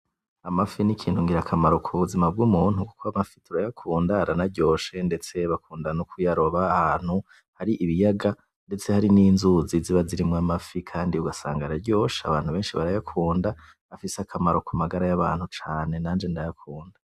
Amafi n'ikintu ngira kamaro ku buzima bw'umuntu kuko amafi turayakunda aranaryoshe ndetse bakunda kuyaroba ahantu hari ibiyaga ndetse harimwo inzuzi ziba zirimwo amafi kandi ugasanga araryoshe abantu benshi barayakunda afise akamaro kumagara yabantu cane nanje ndayakunda.